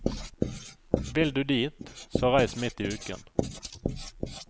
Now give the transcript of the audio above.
Vil du dit, så reis midt i uken.